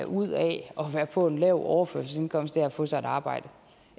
ud af at være på en lav overførselsindkomst at få sig et arbejde